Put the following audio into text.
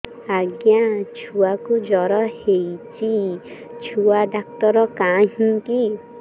ଆଜ୍ଞା ଛୁଆକୁ ଜର ହେଇଚି ଛୁଆ ଡାକ୍ତର କାହିଁ କି